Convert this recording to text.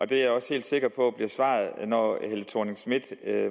det er jeg også helt sikker på bliver svaret når